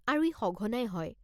আৰু ই সঘনাই হয়।